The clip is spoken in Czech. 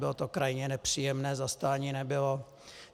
Bylo to krajně nepříjemné, zastání nebylo.